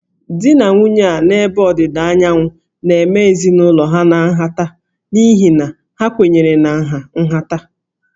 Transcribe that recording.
Di na nwunye a n'ebe Ọdịda Anyanwụ na-eme ezinụlọ ha nhata n'ihi na ha kwenyere na nha nhata